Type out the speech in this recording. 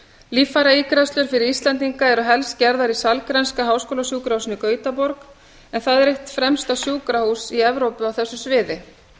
líffæraígræðslur fyrir íslendinga eru helst gerðar í sahlgrenska háskólasjúkrahúsinu í gautaborg en það er eitt fremsta sjúkrahús evrópu á þessu sviði